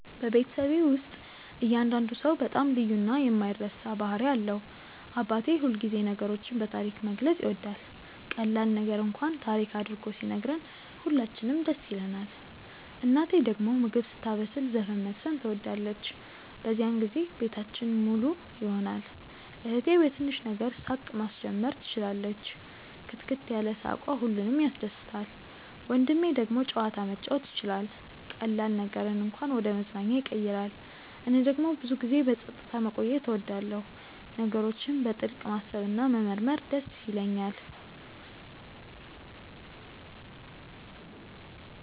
በቤተሰቤ ውስጥ እያንዳንዱ ሰው በጣም ልዩ እና የማይረሳ ባህሪ አለው። አባቴ ሁልጊዜ ነገሮችን በታሪክ መግለጽ ይወዳል፤ ቀላል ነገር እንኳን ታሪክ አድርጎ ሲነግረን ሁላችንም ደስ ይለንናል። እናቴ ደግሞ ምግብ ስታበስል ዘፈን መዝፈን ትወዳለች፤ በዚያን ጊዜ ቤታችን ሙሉ ይሆናል። እህቴ በትንሽ ነገር ሳቅ ማስጀመር ትችላለች፣ ክትክት ያለ ሳቅዋ ሁሉንም ያስደስታል። ወንድሜ ደግሞ ጨዋታ መጫወት ይችላል፤ ቀላል ነገርን እንኳን ወደ መዝናኛ ያቀይራል። እኔ ደግሞ ብዙ ጊዜ በጸጥታ መቆየት እወዳለሁ፣ ነገሮችን በጥልቅ ማሰብ እና መመርመር ይደስ ይለኛል።